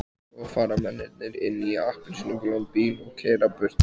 Svo fara mennirnir inn í appelsínugulan bíl og keyra burtu.